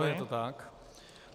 Ano, je to tak.